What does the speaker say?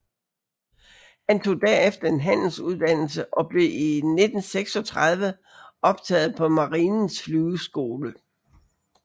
Han tog derefter en handelsuddannelse og blev i 1936 optaget på Marinens Flyveskole